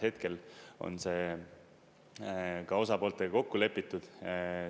Hetkel on see ka osapooltega kokku lepitud.